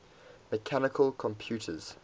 mechanical computers